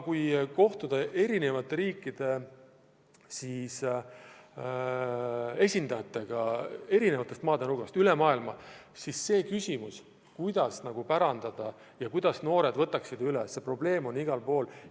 Kui kohtuda erinevate riikide esindajatega erinevatest nurkadest üle maailma, siis see küsimus, kuidas tootmine järglastele pärandada, kuidas noored võtaksid majandamise üle – see probleem on igal pool.